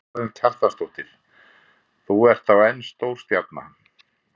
Karen Kjartansdóttir: Þú ert þá enn stórstjarna?